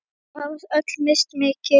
Þau hafa öll misst mikið.